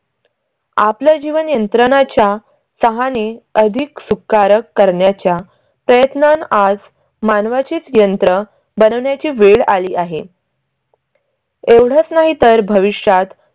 आपल जीवन यंत्रणांच्या सहाणे. अधिक सुखकारक करण्याच्या प्रयत्नात आज मानवाची यंत्र बनण्या ची वेळ आली आहे. एवढंच नाही तर भविष्यात